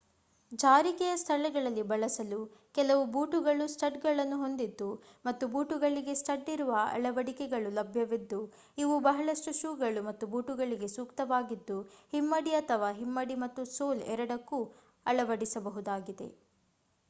ಜಾರಿಕೆಯ ಸ್ಥಳಗಳಲ್ಲಿ ಬಳಸಲು ಕೆಲವು ಬೂಟುಗಳು ಸ್ಟಡ್ಗಳನ್ನು ಹೊಂದಿದ್ದು ಮತ್ತು ಬೂಟುಗಳಿಗೆ ಸ್ಟಡ್ ಇರುವ ಅಳವಡಿಕೆಗಳು ಲಭ್ಯವಿದ್ದು ಇವು ಬಹಳಷ್ಟು ಶೂಗಳು ಮತ್ತು ಬೂಟುಗಳಿಗೆ ಸೂಕ್ತವಾಗಿದ್ದು ಹಿಮ್ಮಡಿ ಅಥವಾ ಹಿಮ್ಮಡಿ ಮತ್ತು ಸೋಲ್ ಎರಡಕ್ಕೂ ಅಳವಡಿಸಬಹುದಾಗಿದೆ